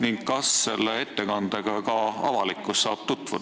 Ja kas ka avalikkus saab selle ettekandega tutvuda?